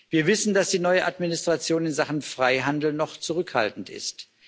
Wir wissen, dass die neue Administration in Sachen Freihandel noch zurückhaltend ist.